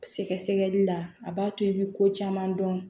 Sɛgɛsɛgɛli la a b'a to i bɛ ko caman dɔn